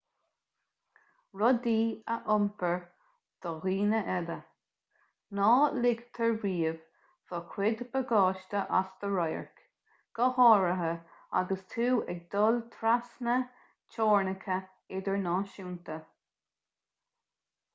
rudaí a iompar do dhaoine eile ná ligtear riamh do chuid bagáiste as do radharc go háirithe agus tú ag dul trasna teorainneacha idirnáisiúnta